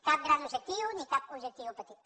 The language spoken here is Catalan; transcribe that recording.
cap gran objectiu ni cap objectiu petit